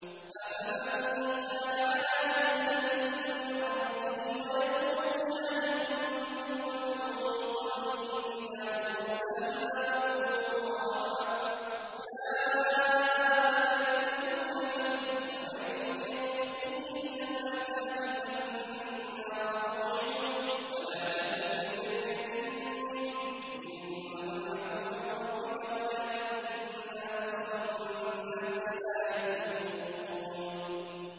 أَفَمَن كَانَ عَلَىٰ بَيِّنَةٍ مِّن رَّبِّهِ وَيَتْلُوهُ شَاهِدٌ مِّنْهُ وَمِن قَبْلِهِ كِتَابُ مُوسَىٰ إِمَامًا وَرَحْمَةً ۚ أُولَٰئِكَ يُؤْمِنُونَ بِهِ ۚ وَمَن يَكْفُرْ بِهِ مِنَ الْأَحْزَابِ فَالنَّارُ مَوْعِدُهُ ۚ فَلَا تَكُ فِي مِرْيَةٍ مِّنْهُ ۚ إِنَّهُ الْحَقُّ مِن رَّبِّكَ وَلَٰكِنَّ أَكْثَرَ النَّاسِ لَا يُؤْمِنُونَ